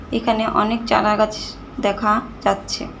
এখানে অনেক চারাগাছ দেখা যাচ্ছে।